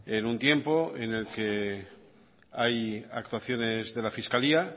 en un tiempo en el que hay actuaciones de la fiscalía